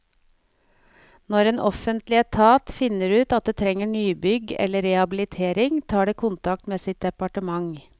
Når en offentlig etat finner ut at det trenger nybygg eller rehabilitering, tar det kontakt med sitt departement.